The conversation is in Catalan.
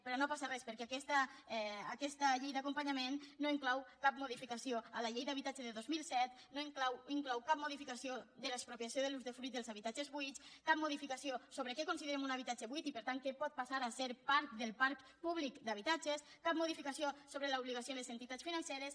però no passa res perquè aquesta llei d’acompanyament no inclou cap modificació a la llei d’habitatge de dos mil set no inclou cap modificació de l’expropiació de l’usdefruit dels habitatges buits cap modificació sobre què considerem un habitatge buit i per tant que pot passar a ser part del parc públic d’habitatges cap modificació sobre l’obligació de les entitats financeres